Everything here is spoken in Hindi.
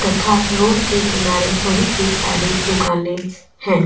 तथा रोड के किनारे बहुत ही सारी दुकानें हैं.